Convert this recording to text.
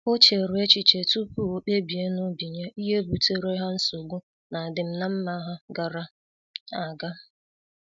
O chere echiche tupu o kpebie n'obi ya ihe butere ha nsogbu n'adim na mma ha gara aga.